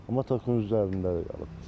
Amma tokun üzərində.